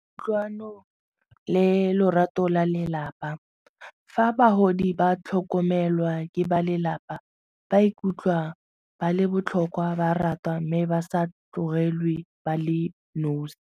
Kutlwano le lorato la lelapa, fa bagodi ba tlhokomelwa ke ba lelapa ba ikutlwa ba le botlhokwa ba ratwa mme ba sa tlogelwe ba le nosi.